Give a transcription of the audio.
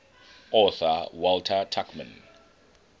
author walter tuchman